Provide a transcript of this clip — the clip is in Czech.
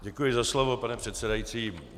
Děkuji za slovo, pane předsedající.